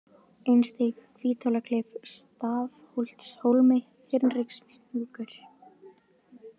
Einstíg, Hvíthólaklif, Stafholtshólmi, Hinrikshnjúkur